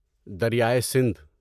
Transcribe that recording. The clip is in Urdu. دریائے سندھ